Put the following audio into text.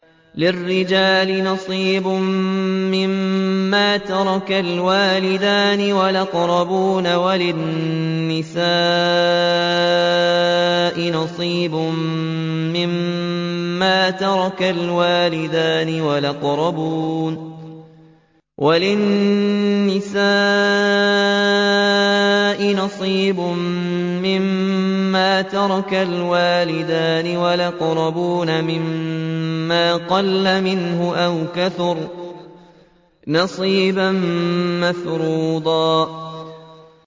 لِّلرِّجَالِ نَصِيبٌ مِّمَّا تَرَكَ الْوَالِدَانِ وَالْأَقْرَبُونَ وَلِلنِّسَاءِ نَصِيبٌ مِّمَّا تَرَكَ الْوَالِدَانِ وَالْأَقْرَبُونَ مِمَّا قَلَّ مِنْهُ أَوْ كَثُرَ ۚ نَصِيبًا مَّفْرُوضًا